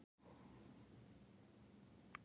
Arnór, hver syngur þetta lag?